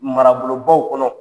Marabolobaw kɔnɔ.